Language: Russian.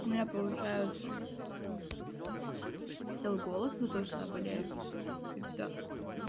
у меня получается сел голос за то что я болею и всё